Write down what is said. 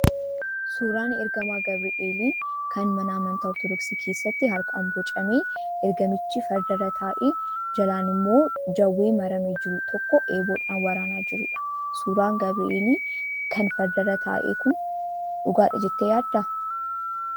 Suuraan ergamaa gabreelii kan mana amantaa ortodoksii keessatti harkaan bocamee ergamichi fardarraa taa'ee jalaan immoo jawwee maramee jiru tokko eeboodhaan waraanaa jirudha. Suuraan gabreelii kan fardarra taa'e kun dhugaadha jettee yaaddaa?